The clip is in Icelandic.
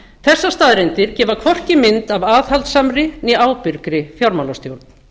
þessar staðreyndir gefa hvorki mynd að aðhaldssamri né ábyrgri fjármálastjórn